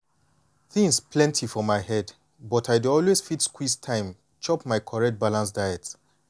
things plenty for my head but i dey always fit squeeze time chop my correct balanced diet.